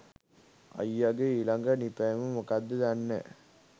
අයියගේ ඊලඟ නිපැයුම මොක්කද දන්නෑ